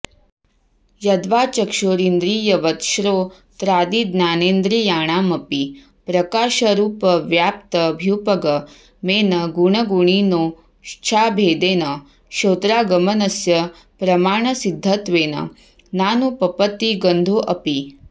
यद्वा चक्षुरिन्द्रियवत् श्रोत्रादिज्ञानेन्द्रियाणामपि प्रकाशरुपव्याप्त्यभ्युपगमेन गुणगुणिनोश्चाभेदेन श्रोत्रागमनस्य प्रमाणसिध्दत्वेन नानुपपत्तिगन्धोऽपि